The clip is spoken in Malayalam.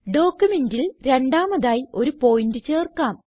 ഡോക്യുമെന്റിൽ രണ്ടാമതായി ഒരു പോയിന്റ് ചേർക്കാം